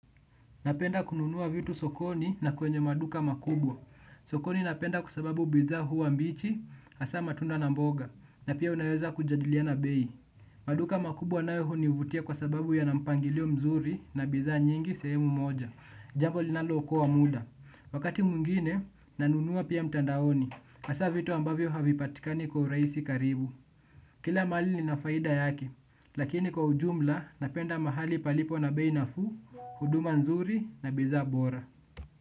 Napenda kununua vitu sokoni na kwenye maduka makubwa. Sokoni napenda kwa sababu bidhaa huwa mbichi, hasa matunda na mboga na pia unaweza kujadiliana bei. Maduka makubwa nayo hunivutia kwa sababu yana mpangilio mzuri na bidhaa nyingi sehemu moja. Jambo linalo okoa muda. Wakati mwngine, nanunua pia mtandaoni. Hsa vitu ambavyo havipatikani kwa urahisi karibu. Kila mali ni nafaida yaki, lakini kwa ujumla napenda mahali palipo na beinafu, huduma nzuri na bizabora.